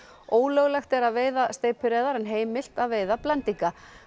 ólöglegt er að veiða steypireyðar en heimilt að veiða blendinga